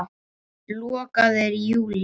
Lokað er í júlí.